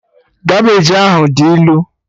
Kabeji ahụ dị ilu